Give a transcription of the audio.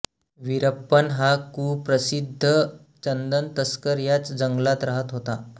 वीरप्पन हा कुप्रसिद्ध चंदन तस्कर याच जंगलात रहात होता